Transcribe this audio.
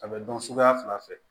A bɛ dɔn suguya fila fɛ